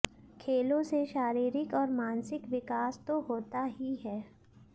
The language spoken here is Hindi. खेलों से शारीरिक और मानसिक विकास तो होता ही है